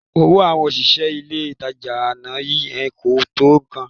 Owó àwọn òṣìṣẹ́ ilé-ìtajà àná yẹn kò tó nǹkan